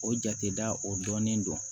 O jate da o dɔnnen don